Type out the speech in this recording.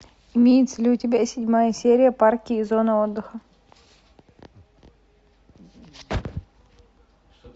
имеется ли у тебя седьмая серия парки и зоны отдыха